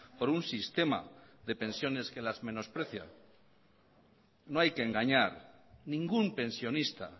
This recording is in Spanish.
por un sistema de pensiones que las menosprecian no hay que engañar ningún pensionista